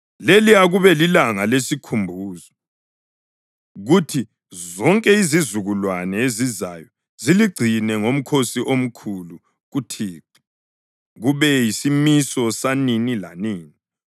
Leli akube lilanga lesikhumbuzo, kuthi zonke izizukulwane ezizayo ziligcine ngomkhosi omkhulu kuThixo, kube yisimiso sanini lanini.